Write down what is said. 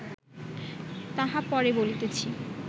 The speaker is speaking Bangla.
তাহা পরে বলিতেছি